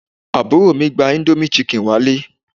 Àbúrò mi gba indomie chicken wá ilé